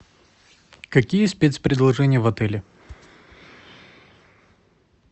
какие спец предложения в отеле